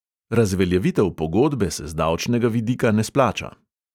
Razveljavitev pogodbe se z davčnega vidika ne splača.